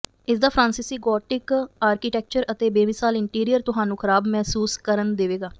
ਇਸਦਾ ਫ੍ਰਾਂਸੀਸੀ gothic architecture ਅਤੇ ਬੇਮਿਸਾਲ ਇੰਟੀਰੀਅਰ ਤੁਹਾਨੂੰ ਖਰਾਬ ਮਹਿਸੂਸ ਕਰਨ ਦੇਵੇਗਾ